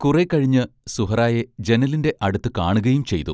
കുറേക്കഴിഞ്ഞ് സുഹ്റായെ ജനലിന്റെ അടുത്തു കാണുകയും ചെയ്തു.